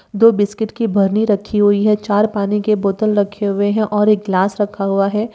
दो बिस्किट की बरनी रखी हुई है। चार पानी के बोतल रखे हुए है और एक ग्लास रखा हुआ है।